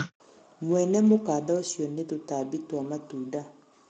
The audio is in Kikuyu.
mwene mũkanda ũcĩo nĩ tũtambĩ twa matũnda